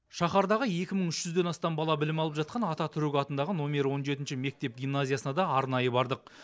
шаһардағы екі мың үш жүзден астам бала білім алып жатқан ататүрік атындағы нөмірі он жетінші мектеп гимназиясына да арнайы бардық